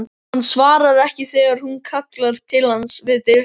Hann svarar ekki þegar hún kallar til hans við dyrnar.